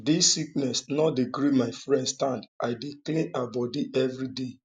dis sickness no dey gree my friend stand i dey clean her bodi everyday